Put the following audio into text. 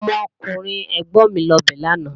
Ọmọkùnrin ẹ̀gbọ̀n mi lọ bẹ̀ lánàá